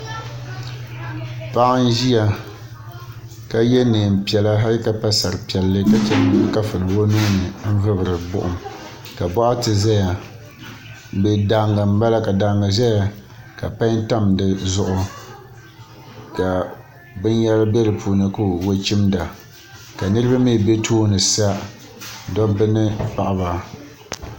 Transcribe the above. Paɣa n ʒia ka ye niɛnpiɛla hali ka pa sari piɛlli ka che n gbibi kafuni o nuuni n vibiri buɣum. ka boɣati daaga ʒɛya ka pai tam dizuɣu ka binyɛra be dipuuni ka o chimda ka niriba mee be tooni sa dobba ni paɣaba.